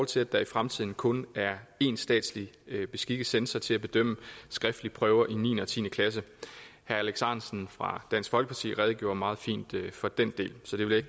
til at der i fremtiden kun er én statslig beskikket censor til at bedømme skriftlige prøver i niende og tiende klasse herre alex ahrendtsen fra dansk folkeparti redegjorde meget fint for den del så det vil jeg